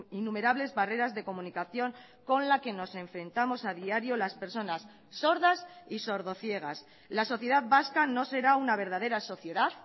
innumerables barreras de comunicación con la que nos enfrentamos a diario las personas sordas y sordociegas la sociedad vasca no será una verdadera sociedad